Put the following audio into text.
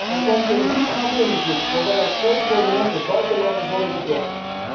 Er komt een diepgaand onderzoek, waarbij ook twee prominente buitenlanders worden betrokken.